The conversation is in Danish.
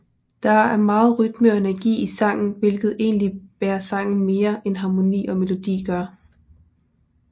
Der er meget rytme og energi i sangen hvilket egentligt bærer sangen mere end harmoni og melodi gør